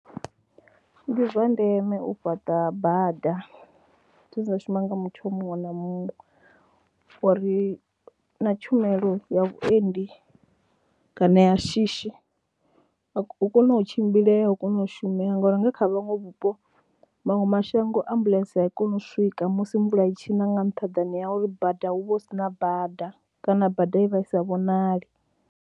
Ndi zwa ndeme u fhaṱa bada dzine dza shuma nga muthu muṅwe na muṅwe uri na tshumelo ya vhuendi kana ya shishi, hu kone u tshimbilea, hu kone u shumea ngauri nga kha vhuṅwe vhupo maṅwe mashango ambuḽentse a i koni u swika musi mvula i tshi na nga nṱhaḓani ha uri bada hu vha hu si na bada kana bada i vha i sa vhonali.